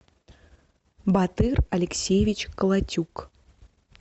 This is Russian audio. батыр алексеевич колотюк